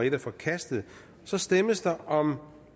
en er forkastet så stemmes der om